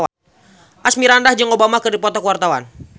Asmirandah jeung Obama keur dipoto ku wartawan